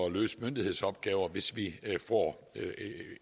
at løse myndighedsopgaver hvis vi får